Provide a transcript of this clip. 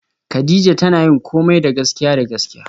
Kadija tana yin komai da gaskiya da gaskiya